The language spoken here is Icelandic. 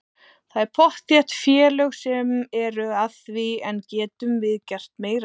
Það eru pottþétt félög sem eru að því en getum við gert meira af því?